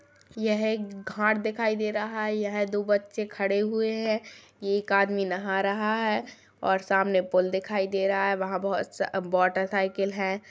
यह एक घाट दिखाई दे रहा है यह दो बच्चे खड़े हुए हैं एक आदमी नहा रहा है और सामने पुल दिखाई दे रहा है वहाँ बहोत स मोटर साइकिल हैं।